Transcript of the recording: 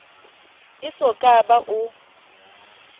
e so ka ba o